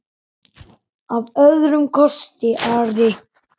Að öðrum kosti Ari?